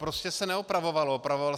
Prostě se neopravovalo.